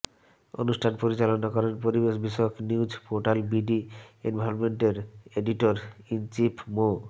অনুষ্ঠান পরিচালনা করেন পরিবেশ বিষয়ক নিউজ পোর্টাল বিডি এনভায়রনমেন্টের এডিটর ইন চিফ মো